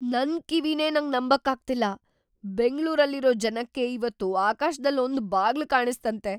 ನನ್‌ ಕಿವಿನೇ ನಂಗ್‌ ನಂಬಕ್ಕಾಗ್ತಿಲ್ಲ! ಬೆಂಗ್ಳೂರಲ್ಲಿರೋ ಜನಕ್ಕೆ ಇವತ್ತು ಆಕಾಶ್ದಲ್ ಒಂದ್ ಬಾಗ್ಲು ಕಾಣಿಸ್ತಂತೆ!